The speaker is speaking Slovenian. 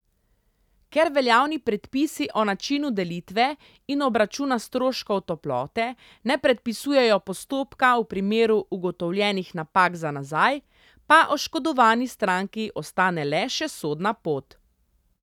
Ker veljavni predpisi o načinu delitve in obračuna stroškov toplote, ne predpisujejo postopka v primeru ugotovljenih napak za nazaj, pa oškodovani stranki ostane le še sodna pot.